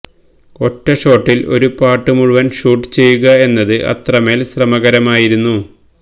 ഒറ്റ ഷോട്ടിൽ ഒരു പാട്ട് മുഴുവൻ ഷൂട്ട് ചെയ്യുക എന്നത് അത്രമേൽ ശ്രമകരമായിരുന്നു